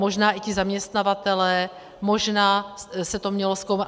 Možná i ti zaměstnavatelé, možná se to mělo zkoumat.